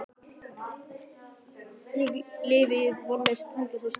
Ég lifði í vonleysi, tilgangsleysi og stefnuleysi.